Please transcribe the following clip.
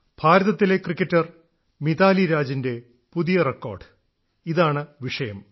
ഭാരതത്തിലെ ക്രിക്കറ്റർ മിതാലി രാജിന്റെ പുതിയ റെക്കോർഡ് ഇതാണ് വിഷയം